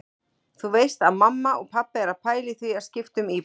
Þú veist að mamma og pabbi eru að pæla í því að skipta um íbúð.